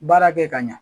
Baara kɛ ka ɲɛ